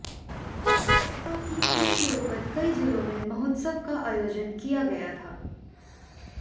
स्वच्छता की थीम के ऊपर कई जिलों में महोत्सव का आयोजन किया गया था